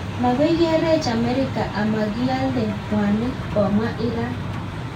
Makoi kerech Amerika amakialdee mwanik ,komwaa iran